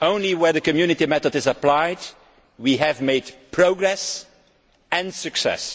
Only where the Community method is applied have we made progress and had success.